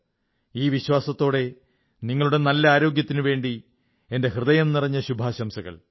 ഈ വിശ്വാസത്തോടെ നിങ്ങളുടെ നല്ല ആരോഗ്യത്തിനുവേണ്ടി എന്റെ ഹൃദയംനിറഞ്ഞ ശുഭാശംസകൾ